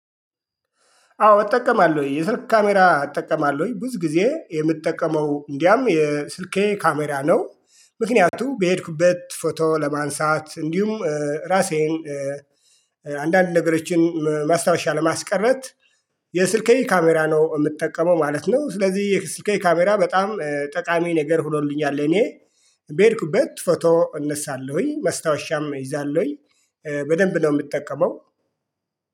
አዎ እጠቀማለሁ የስልክ ካሜራ እጠቀማለሁ ብዙ ጊዜ የምጠቀመው እንዲያውም የስልኬ ካሜራ ነው። ምክንያቱም በሄድኩበት ፎቶ ለማንሳት እንዲሁም ራሴን አንዳንድ ነገሮችን ማስታወሻ ለማስቀረት። የስልኬ ካሜራ ነው የምጠቀመው ማለት ነው። ስለዚህ የስልኬ ካሜራ በጣም ጠቃሚ ነገር ሁኖልኛል። እኔ በሄድኩበት ፎቶ እነሳለሁኝ መስታወሻም እይዛለሁኝ። በደንብ ነው የምጠቀመው